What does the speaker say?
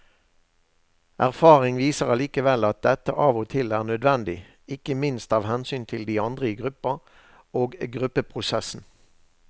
Erfaring viser allikevel at dette av og til er nødvendig, ikke minst av hensyn til de andre i gruppa og gruppeprosessen.